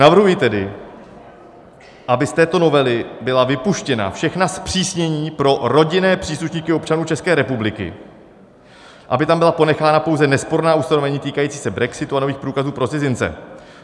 Navrhuji tedy, aby z této novely byla vypuštěna všechna zpřísnění pro rodinné příslušníky občanů České republiky, aby tam byla ponechána pouze nesporná ustanovení týkající se brexitu a nových průkazů pro cizince.